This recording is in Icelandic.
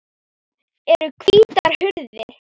Það eru hvítar hurðir.